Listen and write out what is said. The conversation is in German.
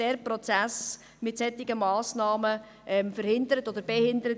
Dieser Prozess wird mit solchen Massnahmen verhindert oder behindert.